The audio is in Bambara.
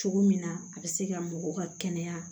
Cogo min na a be se ka mɔgɔw ka kɛnɛya